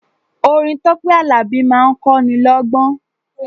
Orin Tọ́pẹ́ Àlàbí máa ń kọ́ ni lọ́gbọ́n.